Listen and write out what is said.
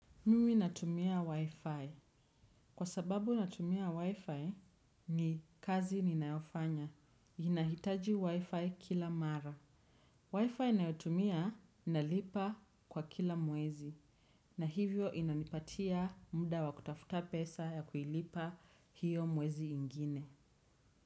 Mimi natumia wi-fi. Kwa sababu inatumia wi-fi ni kazi ninayofanya. Inahitaji wi-fi kila mara. Wi-fi inayotumia inalipa kwa kila mwezi. Na hivyo inanipatia muda wakutafuta pesa ya kuilipa hiyo mwezi mwingine.